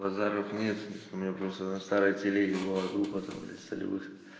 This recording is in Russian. базаров нет у меня просто на старой телеге была группа там блять солевых